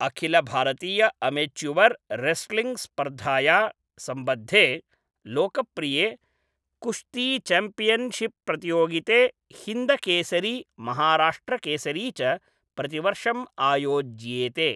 अखिलभारतीय अमेच्युवर् रेस्लिङ्ग् स्पर्धाया सम्बद्धे लोकप्रिये कुश्तीचैम्पियनशिपप्रतियोगिते हिन्दकेसरी, महाराष्ट्रकेसरी च प्रतिवर्षं आयोज्येते।